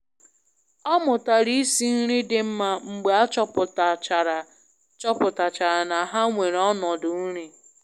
Ọ mụtara isi nri dị mma mgbe a chọpụtachara chọpụtachara na ha nwere ọnọdụ nri.